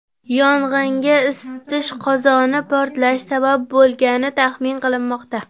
Yong‘inga isitish qozoni portlashi sabab bo‘lgani taxmin qilinmoqda.